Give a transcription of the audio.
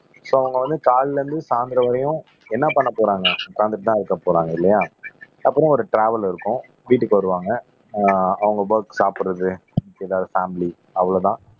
so அவங்க வந்து காலையில இருந்து சாயந்திரம் வரையும் என்ன பண்ணப் போறாங்க உட்கார்ந்துட்டுதான் இருக்கப் போறாங்க இல்லையா அப்புறம் ஒரு ட்ராவல் இருக்கும் வீட்டுக்கு வருவாங்க ஆஹ் அவங்க ஒர்க் சாப்பிடறது ஏதாவது பேமிலி அவ்வளவுதான்